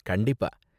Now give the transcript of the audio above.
கண்டிப்பா.